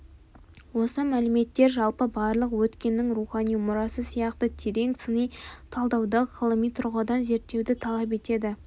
осы мәліметтер жалпы барлық өткеннің рухани мұрасы сияқты терең сыни талдауды ғылыми тұрғыдан зерттеуді талап етеді